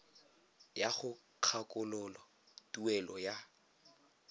ya go kgakololo tuelo ya